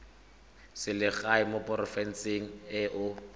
selegae mo porofenseng e o